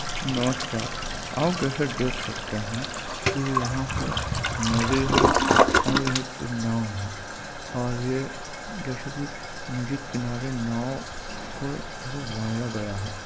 नमस्कार आप जैसा देख सकते है की यहाँ पे नदी है और एक नाव है और ये जैसे की नदी किनारे नाव को बांधा गया है।